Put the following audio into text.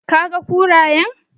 Did you see the hyenas?